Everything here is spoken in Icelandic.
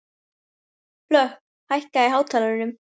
Hlökk, hækkaðu í hátalaranum.